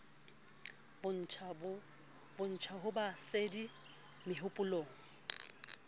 bontsha ho ba sedi mehopolong